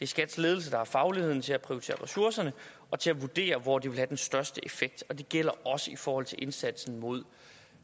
skats ledelse der har fagligheden til at prioritere ressourcerne og til at vurdere hvor de vil have den største effekt og det gælder også i forhold til indsatsen mod